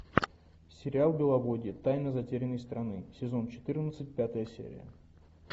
сериал беловодье тайна затерянной страны сезон четырнадцать пятая серия